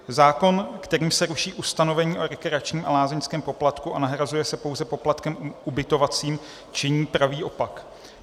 Zákon, kterým se ruší ustanovení o rekreačním a lázeňském poplatku a nahrazuje se pouze poplatkem ubytovacím, činí pravý opak.